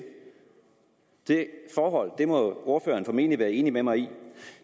det forhold må ordføreren formentlig være enig med mig i